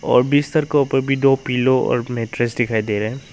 और बिस्तर के ऊपर भी दो पिलो और मैट्ट्रेस दिखाई दे रहा है।